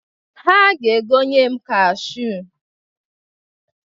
Ha ga-egonye m kashuu.